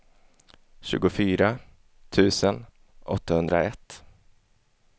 tjugofyra tusen åttahundraett